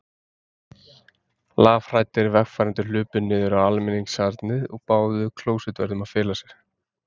Lafhræddir vegfarendur hlupu niður á almenningssalernið og báðu klósettvörðinn að fela sig.